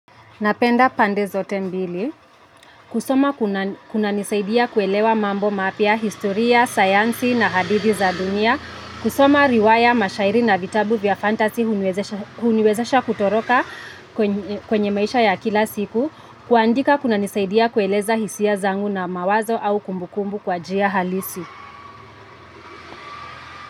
Napenda pande zote mbili, kusoma kunanisaidia kuelewa mambo mapya historia, sayansi na hadithi za dunia, kusoma riwaya mashairi na vitabu vya fantasy huniwezesha huniwezesha kutoroka kwenye maisha ya kila siku, kuandika kunanisaidia kueleza hisia zangu na mawazo au kumbukumbu kwa njia halisi.